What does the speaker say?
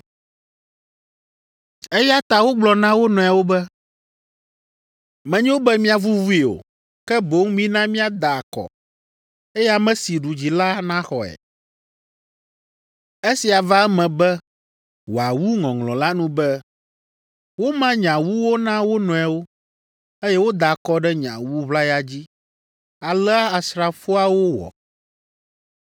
Eya ta wogblɔ na wo nɔewo be, “Menyo be miavuvui o, ke boŋ mina miada akɔ, eye ame si ɖu dzi la naxɔe.” Esia va eme be wòawu ŋɔŋlɔ la nu be, “Woma nye awuwo na wo nɔewo, eye woda akɔ ɖe nye awu ʋlaya dzi.” Alea asrafoawo wɔ.